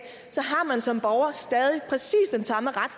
har man som borger stadig præcis den samme ret